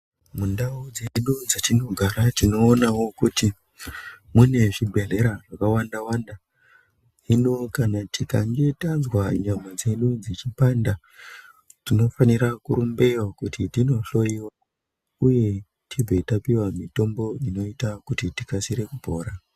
Mundau dzedu mwetinogara tinoonawo kuti munezvibhehlera zvakawandawanda ,hino tikangetanzwa nyama dzedu dzichipanda tinofanira kurumbeyo kuti tinohloiwa uye tibve tapiwa mitombo inoita kuti tikasire kupora.